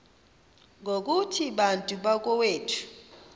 ngokuthi bantu bakowethu